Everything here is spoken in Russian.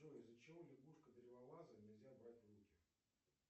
джой из за чего лягушку древолаза нельзя брать в руки